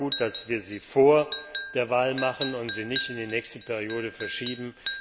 Es ist auch gut, dass wir sie vor der Wahl machen und nicht in die nächste Wahlperiode verschieben.